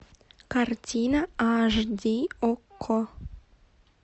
картина аш ди окко